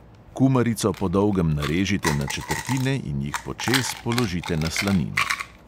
Kumarico po dolgem narežite na četrtine in jih počez položite na slanino.